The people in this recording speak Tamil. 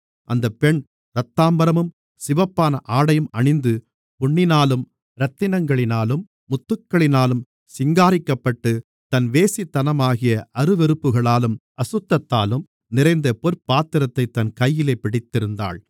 அந்தப் பெண் இரத்தாம்பரமும் சிவப்பான ஆடையும் அணிந்து பொன்னினாலும் இரத்தினங்களினாலும் முத்துக்களினாலும் சிங்காரிக்கப்பட்டு தன் வேசித்தனமாகிய அருவருப்புகளாலும் அசுத்தத்தாலும் நிறைந்த பொற்பாத்திரத்தைத் தன் கையிலே பிடித்திருந்தாள்